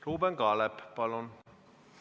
Ruuben Kaalep, palun!